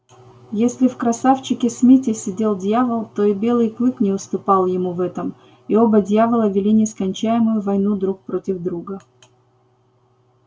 если в красавчике смите сидел дьявол то и белый клык не уступал ему в этом и оба дьявола вели нескончаемую войну друг против друга